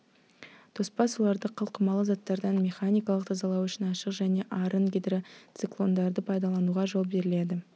тоспа суларды қалқымалы заттардан механикалық тазалау үшін ашық және арын гидроциклондарды пайдалануға жол беріледі